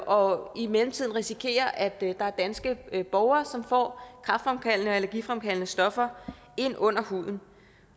og i mellemtiden risikerer at der er danske borgere som får kræftfremkaldende og allergifremkaldende stoffer ind under huden